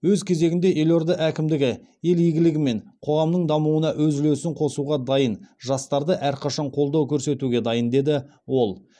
өз кезегінде елорда әкімдігі ел игілігі мен қоғамның дамуына өз үлесін қосуға дайын жастарды әрқашан қолдау көрсетуге дайын деді ол